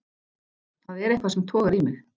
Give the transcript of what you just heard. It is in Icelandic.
Það er eitthvað sem togar í mig.